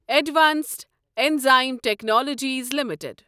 advanced enzyme technologies limited